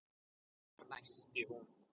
fnæsti hún.